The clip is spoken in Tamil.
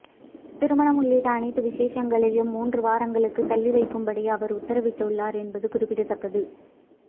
திருமணம் உள்ளிட்ட அனைத்து விசேஷங்களையும் மூன்று வாரங்களுக்கு தள்ளி வைக்கும்படி அவர் உத்தரவிட்டுள்ளார் என்பது குறிப்பிடத்தக்கது